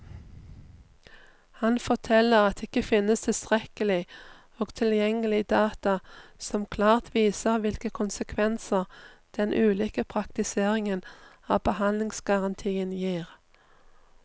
Han forteller at det ikke finnes tilstrekkelig og tilgjengelig data som klart viser hvilke konsekvenser den ulike praktiseringen av behandlingsgarantien gir.